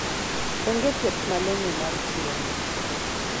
onge thieth malong'o mar tuoni